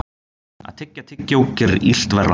Að tyggja tyggjó gerir illt verra.